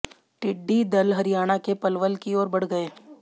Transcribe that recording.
टिड्डी दल हरियाणा के पलवल की ओर बढ़ गए